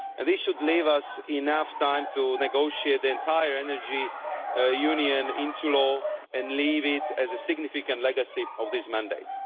This should leave us enough time to negotiate the entire Energy Union into law and leave it as a significant legacy of this mandate.